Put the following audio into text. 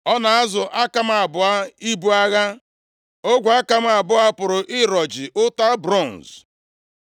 Ọ na-azụ aka m abụọ ibu agha, ogwe aka m abụọ pụrụ ịrọji ụta bronz.